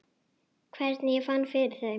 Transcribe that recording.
Hvernig ég fann fyrir þeim?